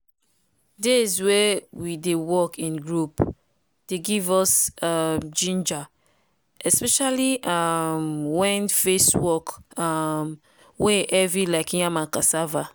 days wey we dey work in group dey give us um ginger especially um wen face work um wey heavy like yam and cassava.